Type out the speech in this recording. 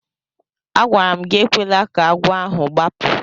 Agwara m gị ekwela ka agwọ ahụ gbapụ!